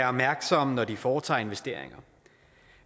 opmærksomme når de foretager investeringer